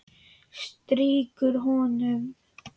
Strýkur honum.